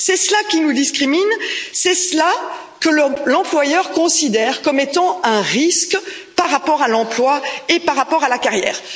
C'est cela qui nous expose à des discriminations, c'est cela que l'employeur considère comme étant un risque par rapport à l'emploi et par rapport à la carrière.